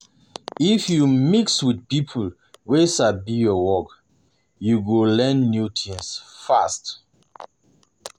If you mix with people wey sabi your work, you go learn new things fast.